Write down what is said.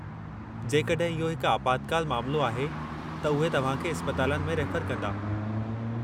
जेकॾहिं इहो हिकु आपातकालु मामिलो आहे त उहे तव्हां खे इस्पतालनि में रेफर कंदा।